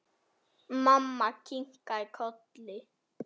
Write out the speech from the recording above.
Mamma kinkaði kolli.